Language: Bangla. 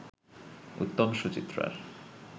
উত্তম-সুচিত্রার